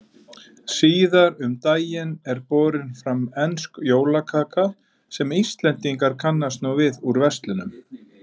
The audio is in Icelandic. Síðar um daginn er borin fram ensk jólakaka sem Íslendingar kannast nú við úr verslunum.